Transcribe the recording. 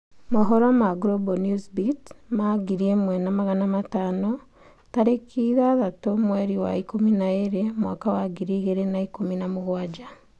Habari za Global Newsbeat 1500 06/12/2017